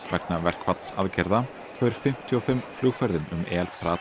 vegna verkfallsaðgerða hefur fimmtíu og fimm flugferðum um El